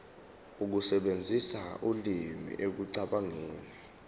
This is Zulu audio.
ukusebenzisa ulimi ekucabangeni